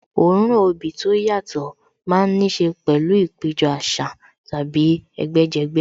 Òórùn obì tó yàtọ̀ má ń níṣe pẹ̀lú ìpéjọ àṣà tàbí ẹgbẹ́ jẹgbẹ́